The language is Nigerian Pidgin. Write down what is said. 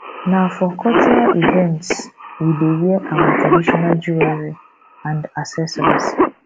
na for cultural events we dey wear our traditional jewelry and accessories